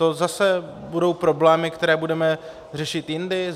To zase budou problémy, které budeme řešit jindy?